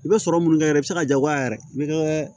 I bɛ sɔrɔ mun kɛ yɛrɛ i bɛ se ka jagoya yɛrɛ i bɛ